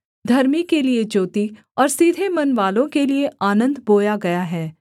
धर्मी के लिये ज्योति और सीधे मनवालों के लिये आनन्द बोया गया है